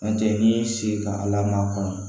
N'o tɛ n'i y'i sigi ka ala makɔnɔ